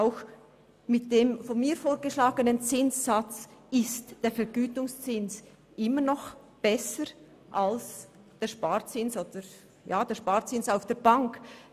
Auch mit dem von mir vorgeschlagenen Zinssatz ist der Vergütungszins immer noch besser als der Sparzins auf der Bank.